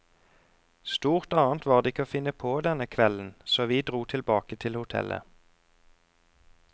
Stort annet var det ikke å finne på denne kvelden, så vi dro tilbake til hotellet.